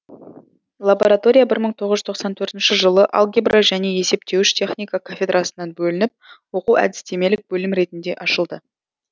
лаборатория мың тоғыз жүз тоқсан төртінші жылы алгебра және есептеуіш техника кафедрасынан бөлініп оқу әдістемелік бөлім ретінде ашылды